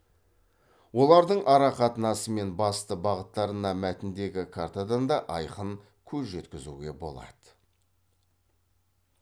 олардың арақатынасы мен басты бағыттарына мәтіндегі картадан да айқын көз жеткізуге болады